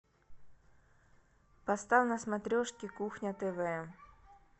поставь на смотрешке кухня тв